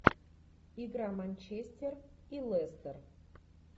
игра манчестер и лестер